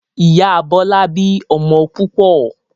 Ìyá Bọlá bí ọmọ púpọ̀